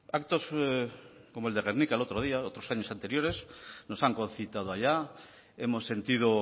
actos como el de gernika el otro día otros años anteriores nos han concitado allá hemos sentido